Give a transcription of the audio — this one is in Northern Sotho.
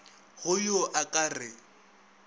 go yo a ka re